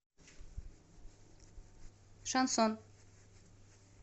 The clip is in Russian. шансон